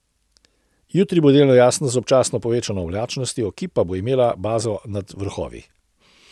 Jutri bo delno jasno z občasno povečano oblačnostjo, ki pa bo imela bazo nad vrhovi.